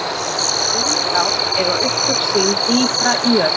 lindár eiga upptök sín dýpra í jörð